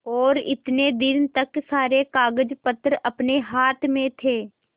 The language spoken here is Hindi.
और इतने दिन तक सारे कागजपत्र अपने हाथ में थे